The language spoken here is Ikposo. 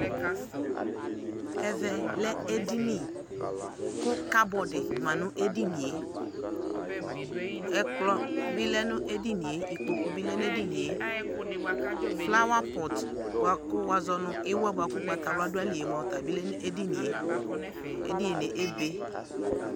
ɛvɛ lɛ edini ko cupboard ma no edinie, ɛkplɔ bi lɛ no edinie, ikpoku bi lɛ no edinie, flower pot boa ko wazɔ no iwɛ boa ko ugbata wla do ayili ɔta bi lɛ no edinie, edinie be